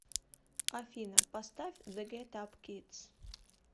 афина поставь зе гет ап кидс